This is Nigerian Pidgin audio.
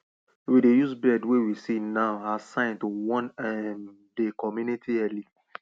we dey use bird wey we see now as sign to warn um dey community early